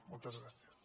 moltes gràcies